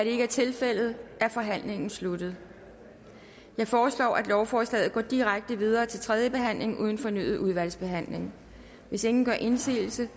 ikke er tilfældet er forhandlingen sluttet jeg foreslår at lovforslaget går direkte videre til tredje behandling uden fornyet udvalgsbehandling hvis ingen gør indsigelse